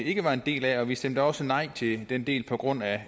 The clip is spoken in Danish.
ikke var en del af og vi stemte da også nej til den del på grund af